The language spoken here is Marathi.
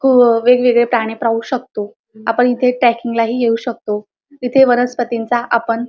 वेगवेगळे प्राणी पाहू शकतो आपण इथे ट्रॅकिंग ला ही येऊ शकतो इथे वनस्पतींचा आपण --